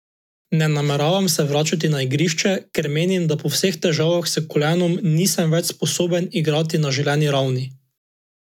Ne nameravam se vračati na igrišče, ker menim, da po vseh težavah s kolenom nisem več sposoben igrati na želeni ravni.